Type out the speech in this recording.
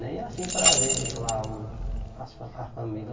Nem assim para ver lá o as fa as famílias.